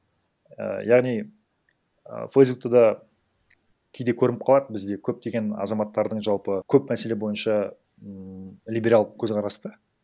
і яғни ы фейсбукта да кейде көрініп қалады бізде көптеген азаматтардың жалпы көп мәселе бойынша ммм либерал көзқарас да